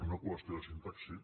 una qüestió de sintaxi